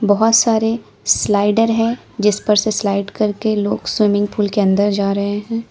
बहुत सारे स्लाइडर है जिस पर से स्लाइड करके लोग स्विमिंग पूल के अंदर जा रहे हैं।